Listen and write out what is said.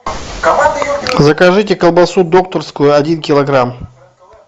закажите колбасу докторскую один килограмм